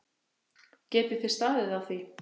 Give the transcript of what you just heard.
Geti þið staðið á því?